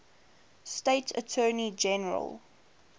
state attorney general